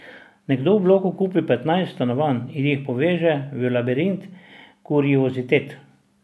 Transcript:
Nekdo v bloku kupi petnajst stanovanj in jih poveže v labirint kuriozitet.